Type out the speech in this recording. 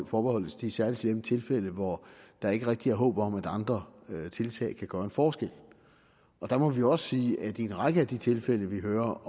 forbeholdt de særlig slemme tilfælde hvor der ikke rigtig er håb om at andre tiltag kan gøre en forskel der må vi også sige at en række af de tilfælde vi hører